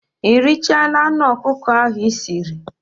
Ị richaala anụ ọkụkọ ahụ Ị siri?